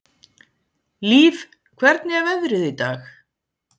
Líf, hvernig er veðrið í dag?